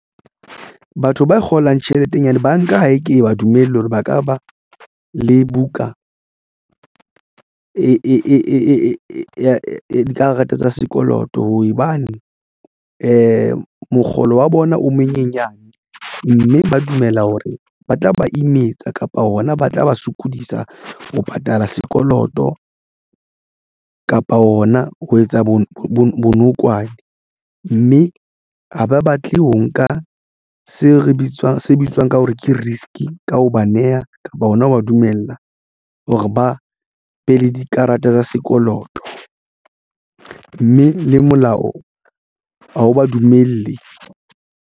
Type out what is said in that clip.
Batho ba kgolang tjheleteng banka ha e ke ba dumelle hore ba ka ba le buka ya dikarata tsa sekoloto hobane mokgolo wa bona o monyenyane, mme ba dumela hore ba tla ba imetsa kapa hona ba tla ba sokodisa ho patala sekoloto kapa ona ho etsa bo bonokwane mme ha ba batle ho nka se re bitswang se bitswang ka hore ke risk ka ho ba neha kapa ona wa dumella hore ba be le dikarata tsa sekoloto mme le molao wa ha ba dumelle.